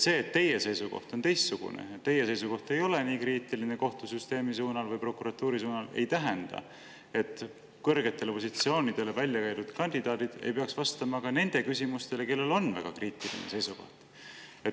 See, et teie seisukoht on teistsugune ja teie seisukoht ei ole nii kriitiline kohtusüsteemi või prokuratuuri suhtes, ei tähenda, et kõrgetele positsioonidele välja käidud kandidaadid ei peaks vastama ka nende küsimustele, kellel on väga kriitiline seisukoht.